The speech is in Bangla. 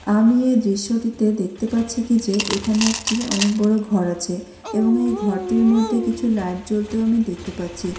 আমি এই দৃশ্যটিতে দেখতে পাচ্ছি কি যে এখানে একটি অনেক বড় ঘর আছে এবং এই ঘরটির মধ্যে কিছু লাইট জ্বলতেও আমি দেখতে পাচ্ছি।